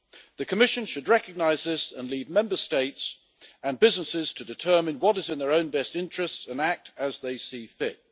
The Commission should recognise this and leave Member States and businesses to determine what is in their own best interests and act as they see fit.